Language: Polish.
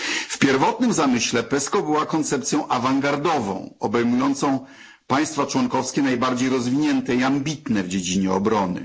W pierwotnym zamyśle PESCO była koncepcją awangardową, obejmującą państwa członkowskie najbardziej rozwinięte i ambitne w dziedzinie obrony.